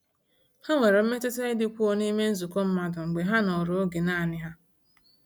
Ha nwere mmetụta ịdịkwuo n’ime nzukọ mmadụ mgbe ha nọrọ oge naanị ha.